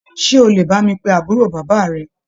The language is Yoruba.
Ṣe o lè bá mi pe àbúrò bàbá rẹ?